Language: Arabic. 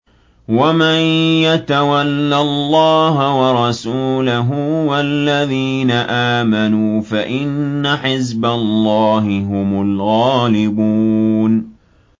وَمَن يَتَوَلَّ اللَّهَ وَرَسُولَهُ وَالَّذِينَ آمَنُوا فَإِنَّ حِزْبَ اللَّهِ هُمُ الْغَالِبُونَ